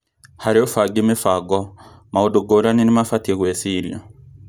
Harĩ ũbangi mĩbango, maũndũ ngũrani nĩmabatie gwĩcirio